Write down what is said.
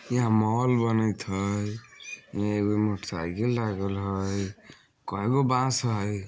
यहाँ मॉल बनएत हेय एगो मोटर साइकिल लागल हेय काइगो बांस हेय।